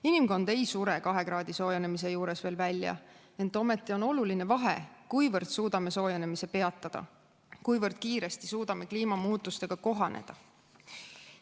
Inimkond ei sure 2 kraadi võrra soojenemise juures veel välja, ent ometi on oluline, kuivõrd suudame soojenemise peatada, kuivõrd kiiresti suudame kliimamuutustega kohaneda.